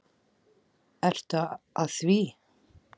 Ertu að því?